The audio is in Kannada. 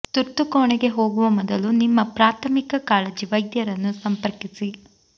ತುರ್ತು ಕೋಣೆಗೆ ಹೋಗುವ ಮೊದಲು ನಿಮ್ಮ ಪ್ರಾಥಮಿಕ ಕಾಳಜಿ ವೈದ್ಯರನ್ನು ಸಂಪರ್ಕಿಸಿ